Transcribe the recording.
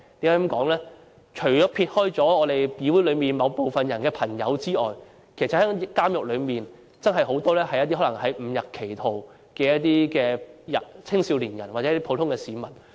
監獄內除了有議會內某部分人士的朋友外，還有很多誤入歧途的青少年或普通市民。